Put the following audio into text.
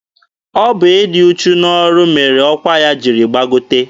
Ọ bụ ịdị uchu n'ọrụ ya mere ọkwa ya jiri gbagote.